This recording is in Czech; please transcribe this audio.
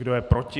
Kdo je proti?